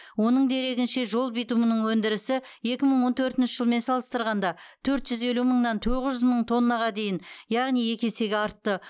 оның дерегінше жол битумының өндірісі екі мың он төртінші жылмен салыстарғанда төрт жүз елу мыңнан тоғыз жүз мың тоннаға дейін яғни екі есеге артты